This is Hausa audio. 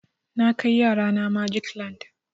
Na kai yara na magic land.